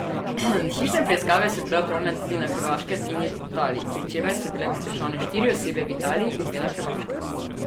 Hišne preiskave so bile opravljene tudi na Hrvaškem in Italiji, pri čemer so bile pridržane štiri osebe v Italiji in dve na Hrvaškem.